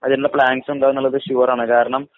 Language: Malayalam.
അതിനുള്ള പ്ലാനിങ്സും ഉണ്ടെന്നുള്ളത് ഷുവറാണ്‌. കാരണം,